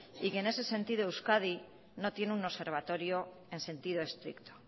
y que en ese sentido euskadi no tiene un observatorio en sentido estricto